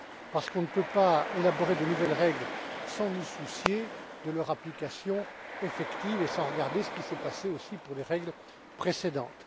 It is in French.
Parce que nous ne pouvons pas élaborer de nouvelles règles sans nous soucier de leur application effective et sans regarder ce qui s'est passé aussi pour les règles précédentes.